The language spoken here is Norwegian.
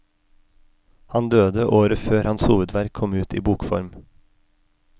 Han døde året før hans hovedverk kom ut i bokform.